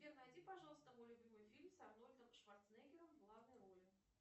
сбер найди пожалуйста мой любимый фильм с арнольдом шварценеггером в главной роли